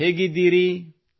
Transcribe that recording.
ಹೇಗಿದ್ದೀರಿ how are you